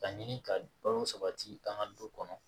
Ka ɲini ka balo sabati an ka du kɔnɔ